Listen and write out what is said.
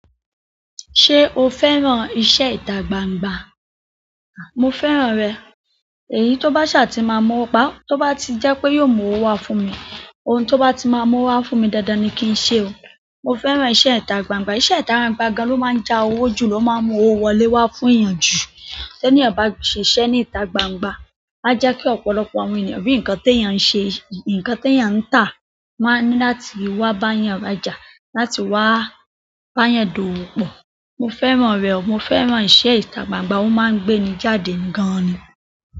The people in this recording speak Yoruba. Ṣé o fẹ́ràn iṣẹ́ ìta gbangba? Mo fẹ́ràn rẹ̀. Èyí tó bá ṣà ti máa mowo pa--, tó bá ti jẹ́ pé yóò mú owó wá fún mi. Ohun tó bá ti máa mo wo wá fún mi dándán ni kí n ṣe o. Mo fẹ́ràn iṣẹ́ ìta gbangba. Iṣẹ́ ita gbangba gan lo ma n ja owo ju, lo maa mu owo wọlé wa fún eeyan ju. T'éniyan bá ṣe iṣẹ́ ní ìta gbangba, a jẹ́kí ọ̀pọ̀lọpọ̀ àwọn ènìyàn rí nǹkan t'èèyàn ń ṣe, nǹkan t'èèyàn ń tà, won á ní láti wá báa'yàn ra jà, láti wá báa'yàn dòwò pọ. Mo fẹ́ràn rẹ̀. Mo fẹ́ràn iṣẹ́ ìta gbangba. Ó máa ń gbé ni jáde gan-an ni.